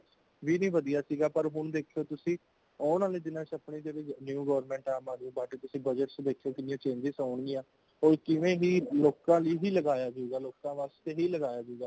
ਵੀ ਨਈਂ ਵਧੀਆ ਸੀ ਗਾ ,ਪਰ ਹੋਣ ਦੇਖੋ ਤੁਸੀਂ ਆਉਣ ਵਾਲ਼ੇ ਦਿਨਾਂ ਚ ਅਪਣੀ ਜੇਹੜੀ new government ਹੈ |ਆਮ ਅਧੱਮੀ party ਤੁਸੀਂ budget ਦੇਖਿਓ ਕੇਨੀਆਂ changes ਆਉਣਗੀਆਂ ,ਉਹ ਕਿਵੇਂ ਹੀ ਲੋਕਾਂ ਲੀਏ ਹੀ ਲਗਾਇਆ ਸੀਗਾ, ਲੋਕਾਂ ਵਾਸਤੇ ਹੀ ਲਗਾਇਆ ਸੀਗਾ।